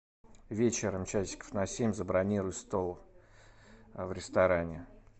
вечером часиков на семь забронируй стол в ресторане